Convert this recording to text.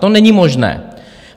To není možné.